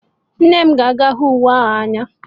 Nne m ga-ahụ uwe ahụ n'anya